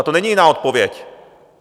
Na to není jiná odpověď.